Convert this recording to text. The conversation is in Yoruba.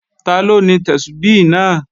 Taló ni Tẹ́súbí náà?